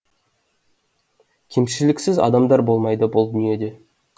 кемшіліксіз адамдар болмайды бұл дүниеде